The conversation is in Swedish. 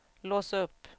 lås upp